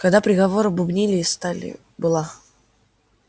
когда приговор бубнили из стали была